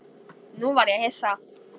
Nú varð ég hissa.